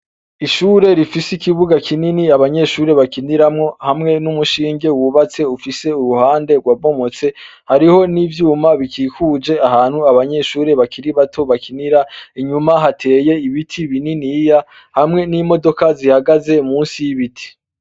ishure rifise ikibuga kinini abanyeshuri bakiniramo hamwe n'umushinge wubatse ufise uruhande rwabomotse hariho n'ibyuma bikikuje ahantu abanyeshuri bakiri bato bakinira inyuma hateye ibiti bininiya hamwe n'imodoka zihagaze munsi y'ibiti